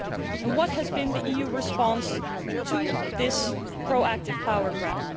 And what has been the EU response to this proactive power grab?